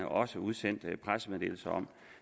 også udsendt pressemeddelelser om